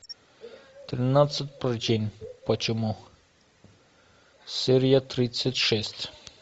тринадцать причин почему серия тридцать шесть